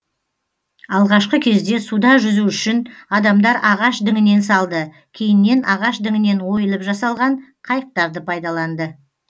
алғашқы кезде суда жүзу үшін адамдар ағаш діңінен салды кейіннен ағаш діңінен ойылып жасалған қайықтарды пайдаланды